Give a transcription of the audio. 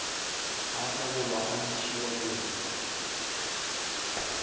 a ebolwa la ntšhiwa diripa